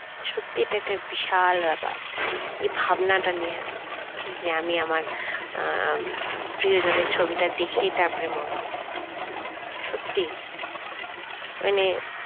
সত্যি এটা একটা বিশাল ব্যাপার। এ ভাবনাটা নেওয়া যে আমি আমার আহ প্রিয়জনের আহ ছবিটা দেখে তারপর মরবো সত্যি মানে